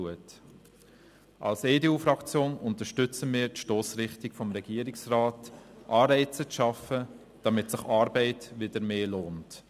Als EDU-Fraktion unterstützen wir die Stossrichtung des Regierungsrats, Anreize zu schaffen, damit sich Arbeit wieder mehr lohnt.